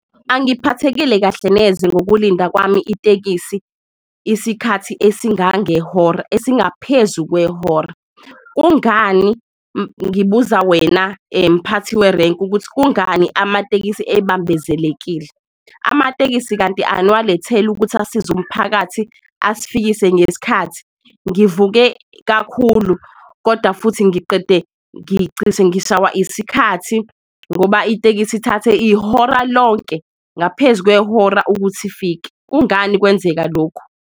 Angiphathekile kahle neze ngokulinda kwami itekisi isikhathi esingangehora, esingaphezu kwehora. Kungani ngibuza wena mphathi werenki, ukuthi kungani amatekisi ebambezelekile? Amatekisi kanti aniwaletheli ukuthi asize umphakathi, asfikise ngesikhathi? Ngivuke kakhulu koda futhi ngiqede ngicishe ngishaywa isikhathi ngoba itekisi ithathe ihora lonke ngaphezu kwehora ukuthi ifike. Kungani kwenzeka lokhu?